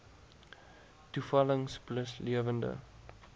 toevallings plus lewende